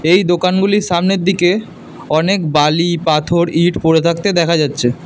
এই দোকানগুলির সামনের দিকে অনেক বালি পাথর ইট পড়ে থাকতে দেখা যাচ্ছে।